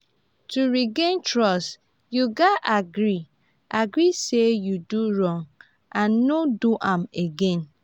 to regain trust yu gats agree agree say yu do wrong and no do am again.